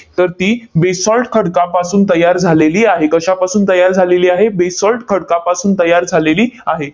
तर ती basalt खडकापासून तयार झालेली आहे. कशापासून तयार झालेली आहे? basalt खडकापासून तयार झालेली आहे.